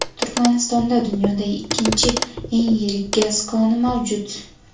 Turkmanistonda dunyodagi ikkinchi eng yirik gaz koni mavjud.